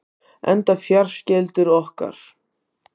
Enda fjarskyldur okkur